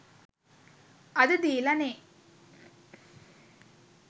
අද දීලා නේ